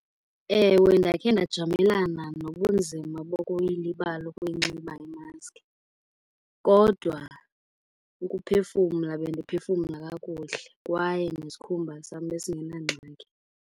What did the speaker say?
Ewe, ndakhe ndajamelana nobunzima bokuyilibala ukuyinxiba imaski. Kodwa ukuphefumla bendiphefumla kakuhle, kwaye nesikhumba sam besingenangxaki.